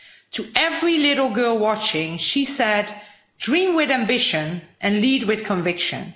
To every little girl watching she said dream with ambition and lead with conviction'.